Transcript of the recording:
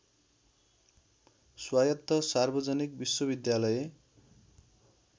स्वायत्त सार्वजनिक विश्वविद्यालय